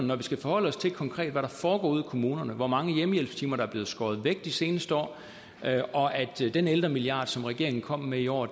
når vi skal forholde os til konkret hvad der foregår ude i kommunerne hvor mange hjemmehjælpstimer der er blevet skåret væk de seneste år og at den ældremilliard som regeringen kom med i år